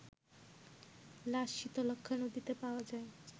লাশ শীতলক্ষ্যা নদীতে পাওয়া যায়